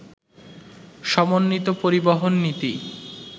সমন্বিত পরিবহন নীতি